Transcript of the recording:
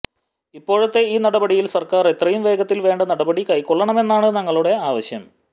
ഇപ്പോഴത്തെ ഈ നടപടിയിൽ സർക്കാർ എത്രയും വേഗത്തിൽ വേണ്ട നടപടി കൈക്കൊള്ളണമെന്നാണ് ഞങ്ങളുടെ ആവശ്യം